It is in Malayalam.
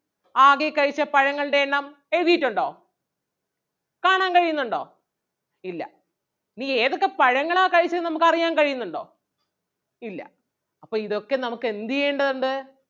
ആകെ കഴിച്ച പഴങ്ങളുടെ എണ്ണം എഴുതിയിട്ടൊണ്ടോ? കാണാൻ കഴിയുന്നുണ്ടോ ഇല്ല ഇനി ഏതൊക്കെ പഴങ്ങളാ കഴിച്ചത് എന്ന് നമുക്ക് അറിയാൻ കഴിയുന്നുണ്ടോ ഇല്ല അപ്പൊ ഇതൊക്കെ നമുക്ക് എന്ത് ചെയ്യേണ്ടതുണ്ട്?